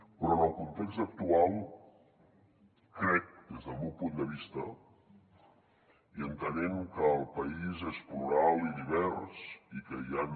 però en el context actual crec des del meu punt de vista i entenent que el país és plural i divers i que hi han